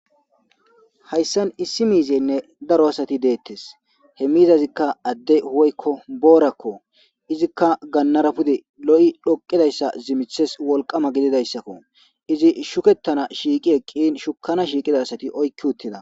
hayssan issi miizeynne daro asati deettes he miizazikka adde woykko boorakko izikka gannara pude lo7i dhoqidayssa zimithes wolqama gididayssakko izi shukettana shiiqi eqqin shukana shiiqida asati oykki uttida